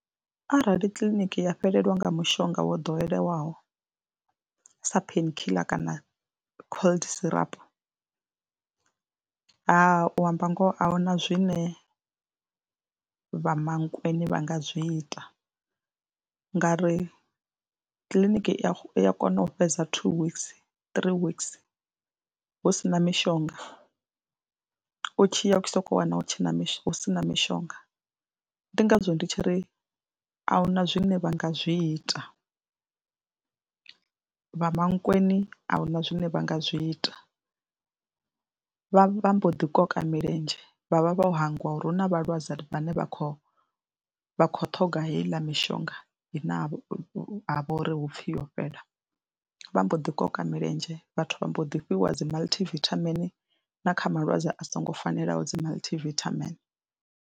Arali kiḽiniki ya fhelelwa nga mushonga wo ḓowelaho sa pain killer kana cold syrup ha u amba ngoho a hu na zwine vha Mankweng vha nga zwi ita ngauri kiḽiniki i ya kona u fhedza two weeks, three weeks hu si na mishonga, u tshi ya u sokou wana hu tshe na hu si na mishonga. Ndi ngazwo ndi tshi ri a hu na zwine vha nga zwi ita, vha Mankweng a hu na zwine vha nga zwi ita, vha vha mbo ḓiṱoka milenzhe vha vha vho hangwa uri hu na vhalwadze vhane vha khou vha khou ṱhoga heiḽa mishonga ine ha vha uri hu pfhi yo fhela, vha mbo ḓiṱoka milenzhe vhathu vha mbo ḓi fhiwa dzi multi vithamini na kha malwadze a songo fanelaho dzi multi vithamini.